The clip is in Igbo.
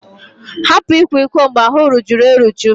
Hapụ ịkwa iko mgbe ahụ rujuru eruju!